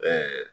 Ɛɛ